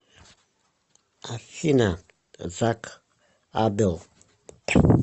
афина зак абел